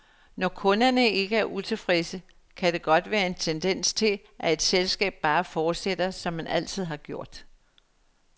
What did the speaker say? Når kunderne ikke er utilfredse, kan der godt være en tendens til, at et selskab bare fortsætter, som man altid har gjort.